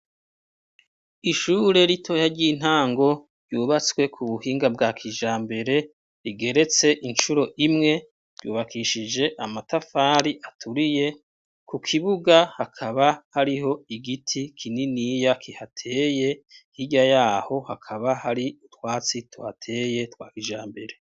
Ishure ritoya, ry'intango, ryubatswe ku buhinga bwa kijambere, rigeretse incuro imwe, ryubakishije amatafari aturiye; ku kibuga, hakaba hariho igiti kininiya, kihateye, hirya y'aho, hakaba hari utwatsi tuhateye, twa kijambere.